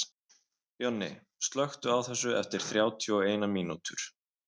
Jonni, slökktu á þessu eftir þrjátíu og eina mínútur.